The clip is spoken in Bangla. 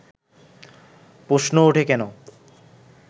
প্রশ্ন ওঠে কেন